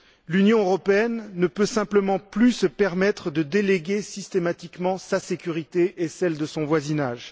L'Union européenne ne peut simplement plus se permettre de déléguer systématiquement sa sécurité et celle de son voisinage.